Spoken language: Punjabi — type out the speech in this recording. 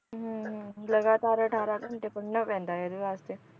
ਹਮ ਹਮ ਲਗਾਤਾਰ ਅਠਾਰਾਂ ਘੰਟੇ ਪੜ੍ਹਨਾ ਪੈਂਦਾ ਹੈ ਇਹਦੇ ਵਾਸਤੇ